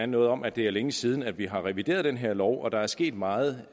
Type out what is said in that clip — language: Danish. noget om at det er længe siden vi har revideret den her lov og at der er sket meget